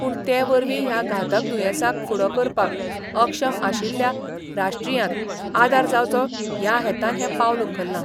पूण ते वरवीं ह्या घातक दुयेंसाक फुडो करपाक अक्षम आशिलल्या राष्ट्रीयांत आदार जावचो ह्या हेतान हें पावल उखल्लां.